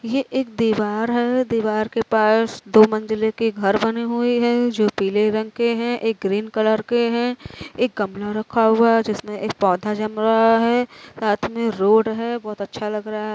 ये एक दीवार है दीवार के पास दो मंजिले के घर बने हुए है जो पीले रंग के हैं। एक ग्रीन कलर के हैं। एक गमला रखा हुवा है जिसमें एक पौधा जम रहा है। साथ में रोड है। बहोत अच्छा लग रहा --